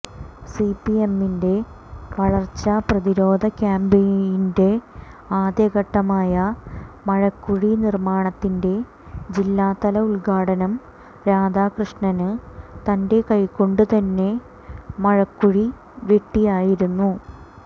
സിപിഎമ്മിന്റെ വരള്ച്ചപ്രതിരോധ ക്യാമ്പയിന്റെ ആദ്യഘട്ടമായ മഴക്കുഴി നിര്മാണത്തിന്റെ ജില്ലാതല ഉദ്ഘാടനം രാധാകൃഷ്ണന് തന്റെ കൈകൊണ്ട് തന്നെ മഴക്കുഴി വെട്ടിയായിരുന്നു